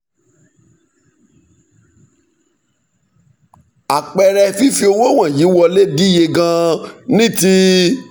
àpẹẹrẹ fífi owó wọ̀nyí wọlé díye gan-an ní ti